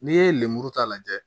N'i ye lemuru ta lajɛ